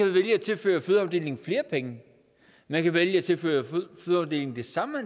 vælge at tilføre fødeafdelingen flere penge man kan vælge at tilføre fødeafdelingen det samme